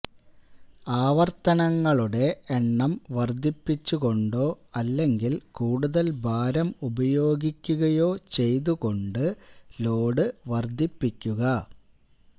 ആവർത്തനങ്ങളുടെ എണ്ണം വർദ്ധിപ്പിച്ചുകൊണ്ടോ അല്ലെങ്കിൽ കൂടുതൽ ഭാരം ഉപയോഗിക്കുകയോ ചെയ്തുകൊണ്ട് ലോഡ് വർദ്ധിപ്പിക്കുക